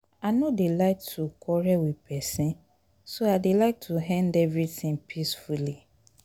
i no dey like to quarrel with person so i dey like to end everything peacefully